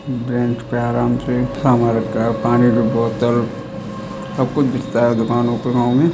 ब्रेनच पे आराम से सामान रखा है पानी की बोतल सब कुछ बिकता है दुकानों पे गाँव में।